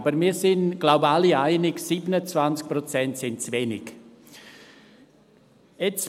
Aber wir sind uns, wie ich glaube, alle einig, dass 27 Prozent zu wenig sind.